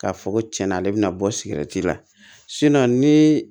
K'a fɔ ko cɛn na ale bɛna bɔ siki la ni